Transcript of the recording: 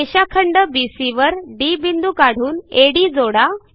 रेषाखंड बीसी वर डी बिंदू काढून अड जोडा